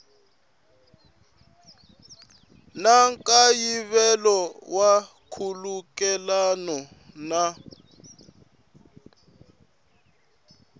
na nkayivelo wa nkhulukelano na